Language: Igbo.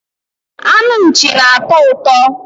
anụ Nchi na-atọ ụtọ